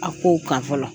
A kow kan fɔlɔ